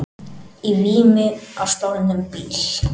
Í vímu á stolnum bíl